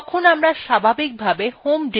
এখন terminalএ গেলাম